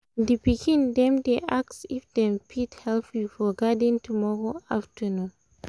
the pikin dem dey ask if dem fit help you for garden tomorrow afternoon